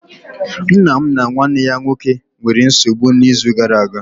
Nna m na nwanne ya nwoke nwere nsogbu n'izu gara aga